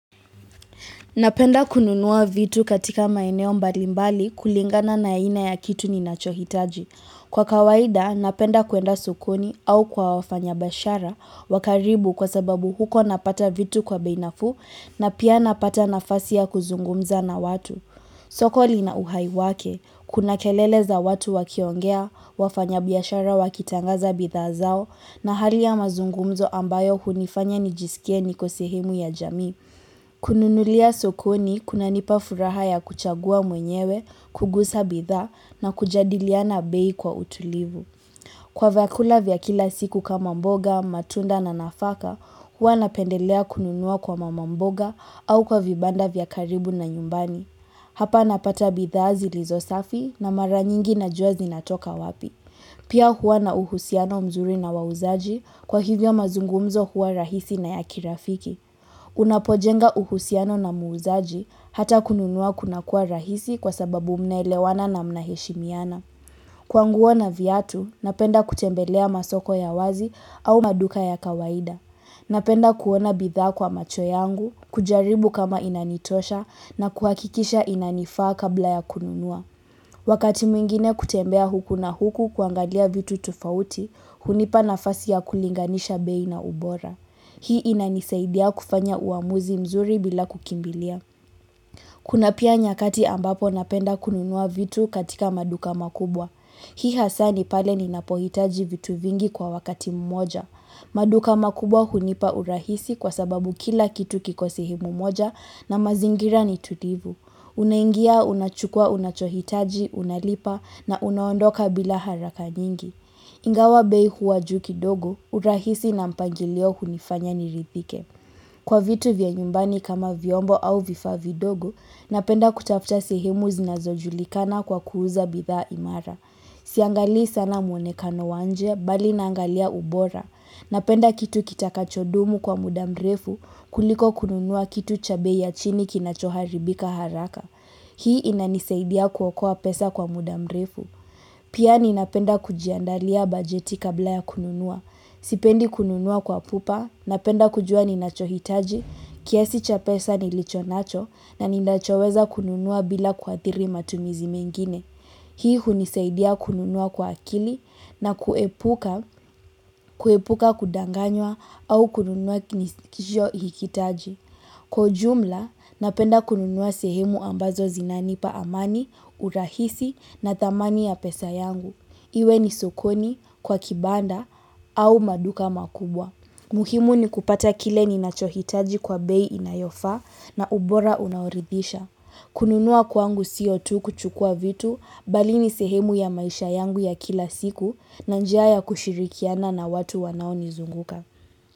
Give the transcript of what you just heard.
Napenda kununua vitu katika maeneo mbalimbali kulingana na aina ya kitu ninachohitaji. Kwa kawaida, napenda kuenda sokoni au kwa wafanya biashara wa karibu kwa sababu huko napata vitu kwa bei nafuu na pia napata nafasi ya kuzungumza na watu. Soko linauhai wake, kuna kelele za watu wakiongea, wafanya biashara wakitangaza bidhaa zao na hali ya mazungumzo ambayo hunifanya nijisikie niko sehemu ya jamii. Kununulia sokoni kunanipa furaha ya kuchagua mwenyewe, kugusa bidhaa na kujadiliana bei kwa utulivu Kwa vyakula vya kila siku kama mboga, matunda na nafaka, huwa napendelea kununua kwa mama mboga au kwa vibanda vya karibu na nyumbani Hapa napata bidhaa zilizo safi na mara nyingi najua zinatoka wapi Pia huwa na uhusiano mzuri na wauzaji kwa hivyo mazungumzo huwa rahisi na ya kirafiki Unapojenga uhusiano na muuzaji hata kununua kuna kuwa rahisi kwa sababu mnaelewana na mnaheshimiana Kwa nguo na viatu, napenda kutembelea masoko ya wazi au maduka ya kawaida Napenda kuona bidhaa kwa macho yangu, kujaribu kama inanitosha na kuhakikisha inanifaa kabla ya kununua Wakati mwingine kutembea huku na huku kuangalia vitu tofauti, hunipa nafasi ya kulinganisha bei na ubora Hii inanisaidia kufanya uamuzi mzuri bila kukimbilia. Kuna pia nyakati ambapo napenda kununua vitu katika maduka makubwa. Hii hasa ni pale ninapohitaji vitu vingi kwa wakati mmoja. Maduka makubwa hunipa urahisi kwa sababu kila kitu kiko sehemu moja na mazingira ni tulivu. Unaingia, unachukua, unachohitaji, unalipa na unaondoka bila haraka nyingi. Ingawa bei huwa juu kidogo, urahisi na mpangilio hunifanya niridhike. Kwa vitu vya nyumbani kama vyombo au vifaa vidogo, napenda kutafuta sehemu zinazojulikana kwa kuuza bidhaa imara. Siangalii sana mwonekano wa nje, bali naangalia ubora. Napenda kitu kitakachodumu kwa muda mrefu kuliko kununua kitu cha bei ya chini kinachoharibika haraka. Hii inanisaidia kuokoa pesa kwa muda mrefu. Pia ninapenda kujiandalia bajeti kabla ya kununua. Sipendi kununua kwa pupa, napenda kujua ninachohitaji, kiasi cha pesa nilichonacho na ninachoweza kununua bila kuathiri matumizi mengine. Hii hunisaidia kununua kwa akili na kuepuka kudanganywa au kununua nisikichohiikitaji. Kwa ujumla, napenda kununua sehemu ambazo zinanipa amani, urahisi na thamani ya pesa yangu. Iwe ni sukoni, kwa kibanda, au maduka makubwa. Muhimu ni kupata kile ninachohitaji kwa bei inayofaa na ubora unaoridhisha. Kununua kwangu sio tu kuchukua vitu, bali ni sehemu ya maisha yangu ya kila siku na njia ya kushirikiana na watu wanaonizunguka.